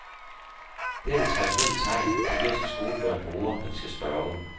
Det er det traditionelle tegn, italienske skolebørn bruger, når de skal spørge.